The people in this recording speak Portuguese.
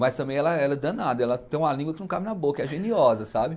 Mas também ela ela é danada, ela tem uma língua que não cabe na boca, é geniosa, sabe?